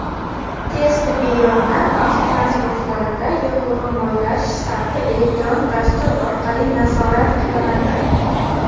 Tez tibbiy yordam avtotransportlarida yoqilg‘i-moylash sarfi elektron dastur orqali nazorat qilinadi.